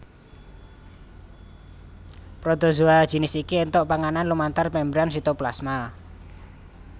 Protozoa jinis iki éntuk panganan lumantar membran sitoplasma